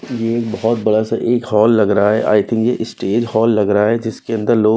ये एक बहोत बड़ा सा एक हॉल लग रहा है I think a stage hall लग रहा है जिसके अंदर लोग--